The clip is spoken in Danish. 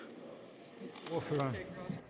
det man